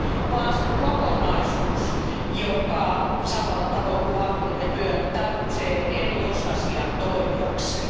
vaan se on kokonaisuus, joka samalla tavoin kuin vankkurit ja pyörä tarvitsee eri osasia toimiakseen.